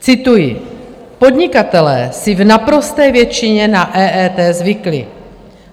Cituji: "Podnikatelé si v naprosté většině na EET zvykli.